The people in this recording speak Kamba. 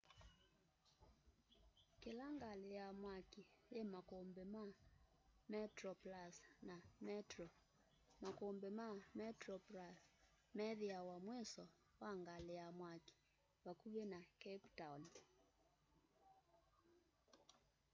kila ngali ya mwaki yi makumbi ma metroplus na metro makumbi ma metroplus methiawa mwiso wa ngali ya mwaki vakuvi na cape town